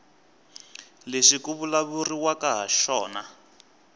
lexi ku vulavuriwaka hi xona